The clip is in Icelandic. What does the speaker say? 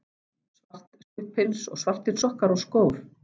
Svart, stutt pils og svartir sokkar og skór.